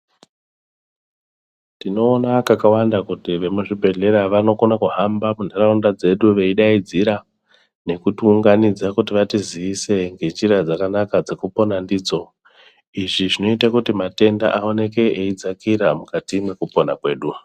Tinoona kakawanda kuti vemuzvibhedheya vanokone kuhamba munharaunda dzedu veidaidzira nekutiunganidza kuti vatiziise ngenjira dzakanaka dzekupona ndidzo izvi zvinoite kuti matenda aoneke eidzakira mukati mwekupona kwedu.